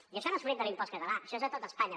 i això no és fruit de l’impost català això és a tot espanya